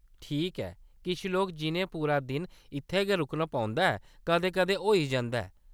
ठीक ऐ, किश लोक जिʼनें पूरा दिन इत्थै गै रुकना पौंदा ऐ, कदें-कदें होई जंदा ऐ।